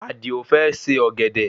Adio fẹ́ se ọ̀gẹ̀dẹ̀